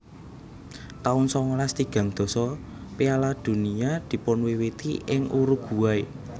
taun songolas tigang dasa Piala Dunia dipunwiwiti ing Uruguay